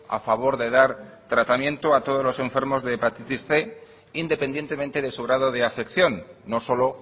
a favor de dar tratamiento a todos los enfermos de hepatitis cien independientemente de su grado de afección no solo